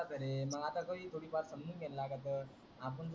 आपुन त करे. मग आता थोय थोडी समजून घेण लागत.